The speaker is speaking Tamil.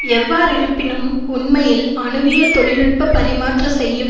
எவ்வாறிருப்பினும் உண்மையில் அணுவியல் தொழில் நுட்ப பரிமாற்ற செய்யும்